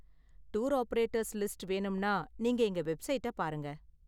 Tour operators list வேணும்னா நீங்க எங்க வெப்சைட்டை பாருங்க.